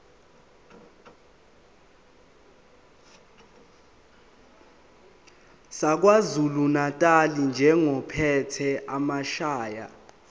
sakwazulunatali njengophethe amasheya